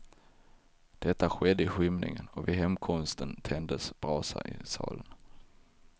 Detta skedde i skymningen och vid hemkomsten tändes brasa i salen.